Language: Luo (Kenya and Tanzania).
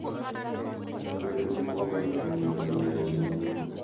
Kata obedo ni kokalo kuom ng’ado bura e chuny,